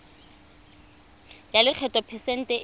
ya lekgetho phesente e